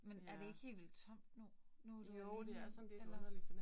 Men er det ikke helt vildt tomt nu? Nu du alene eller